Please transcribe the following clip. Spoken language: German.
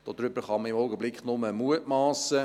– Darüber kann man im Augenblick nur mutmassen.